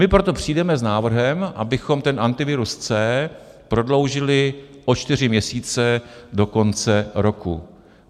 My proto přijdeme s návrhem, abychom ten Antivirus C prodloužili o čtyři měsíce do konce roku.